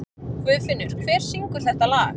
Guðfinnur, hver syngur þetta lag?